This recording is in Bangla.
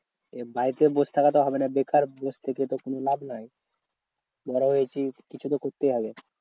বাড়িতে বস থাকা তো হবে না বেকার বসে থেকে তো কোনো লাভ নেই। বড় হয়েছি কিছু তো করতেই হবে।